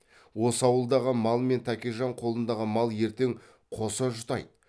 осы ауылдағы мал мен тәкежан қолындағы мал ертең қоса жұтайды